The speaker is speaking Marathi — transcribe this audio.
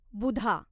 बुधा